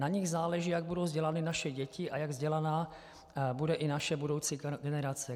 Na nich záleží, jak budou vzdělány naše děti a jak vzdělaná bude i naše budoucí generace.